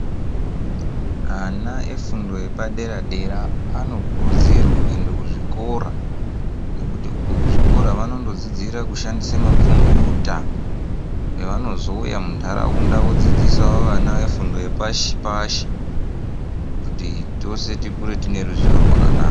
Ana efundo yepadera dera anokurudzirwe kuende kuzvikora, nekuti uko kuzvikora vanondodzidzira kushandisa makhombuyuta pevanozouya mundaraunda vodzidzisawo vana vefundo yepashi pashi kuti tose tikure tiine ruzivo rwakanaka.